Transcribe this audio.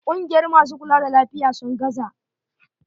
Kungiyar masu kula da lafiya, sun gaza.